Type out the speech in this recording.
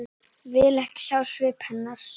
Vill ekki sjá svip hennar.